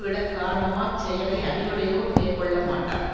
விடக் காரணமா செயலை அறிவுடையோர் மேற்க்கொள்ள மாட்டார்